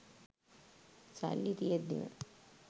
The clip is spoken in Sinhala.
සල්ලි තියෙද්දිම